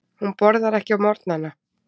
Hún borðar ekki á morgnana.